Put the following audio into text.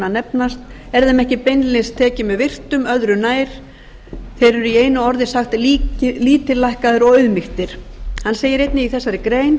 nefnast er þeim ekki beinlínis tekið með virktum öðru nær þeir eru í einu orði sagt lítillækkaðir og auðmýktir hann segir einnig í þessari grein